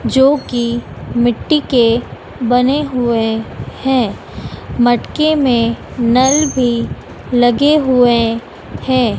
जो कि मिट्टी के बने हुए हैं मटके में नल भी लगे हुए हैं।